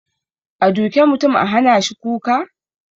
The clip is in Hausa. A duke mutum a hanashi kuka?